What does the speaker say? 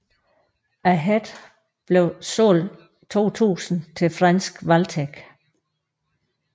Ahead blev solgt 2000 til franske Valtech